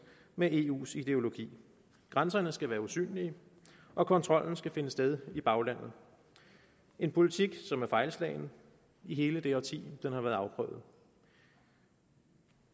med eus ideologi grænserne skal være usynlige og kontrollen skal finde sted i baglandet en politik som har været fejlslagen i hele det årti den har været afprøvet